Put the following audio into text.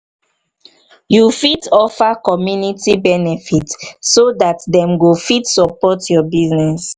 you fit offer community benefit so dat dem go fit support your business